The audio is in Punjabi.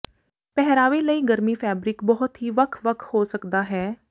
ਪਹਿਰਾਵੇ ਲਈ ਗਰਮੀ ਫੈਬਰਿਕ ਬਹੁਤ ਹੀ ਵੱਖ ਵੱਖ ਹੋ ਸਕਦਾ ਹੈ